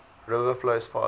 river flows fast